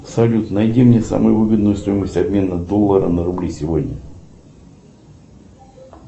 салют найди мне самую выгодную стоимость обмена доллара на рубли сегодня